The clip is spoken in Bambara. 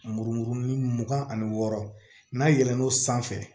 Murumuru mugan ani wɔɔrɔ n'a yɛlɛln'o sanfɛ